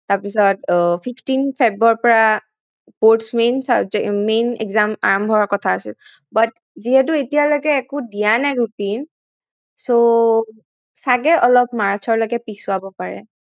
তাৰপিছত fifteen feb ৰ পৰা main subject main exam আৰম্ভ হোৱাৰ কথা আছিল but যিহেতু একো দিয়া নাই routine so চাগে অলপ মাৰ্চলৈকে পিছুৱাব পাৰে